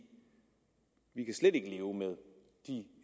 at leve med de